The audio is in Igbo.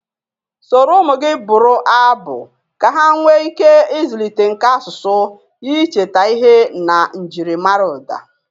Soro ụmụ gị bụrụ abụ ka ha nwee ike ịzụlite nka asụsụ, icheta ihe na njiri mara ụda